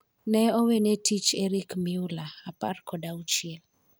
Ne owene tich Erick Mueller, apar kod auchiel